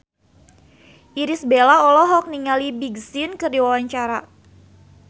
Irish Bella olohok ningali Big Sean keur diwawancara